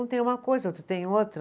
Um tem uma coisa, outro tem outra.